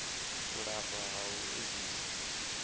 u lafha ha u edzisa